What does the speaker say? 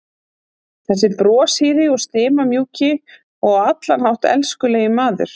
Þessi broshýri og stimamjúki og á allan hátt elskulegi maður!